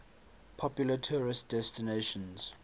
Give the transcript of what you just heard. popular tourist destinations